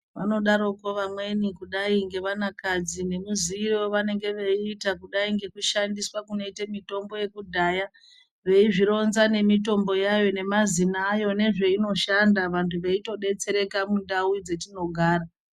Vanodaroko amweni kudai ngevanakadzi nemaziire wavanengeweizviita kudai ngekushandiswa kunoitwa mutombo wekudhaya . Veizvironza nemutomboyayo nemazina ayo nezvainoshanda vantu veitodetsereka mundau dzatinogara.